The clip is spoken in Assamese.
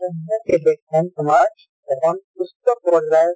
সেই দেশখন তোমাৰ এখন সুস্থ পৰ্য্যায়ৰ